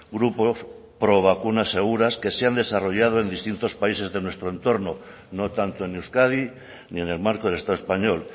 grupos pro vacunas seguras que se han desarrollado en distintos países de nuestro entorno no tanto en euskadi ni en el marco del estado español